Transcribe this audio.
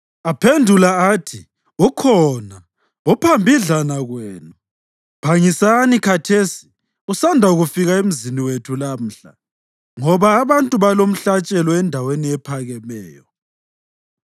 Aphendula athi, “Ukhona. Uphambidlana kwenu. Phangisani khathesi; usanda kufika emzini wethu lamhla, ngoba abantu balomhlatshelo endaweni ephakemeyo.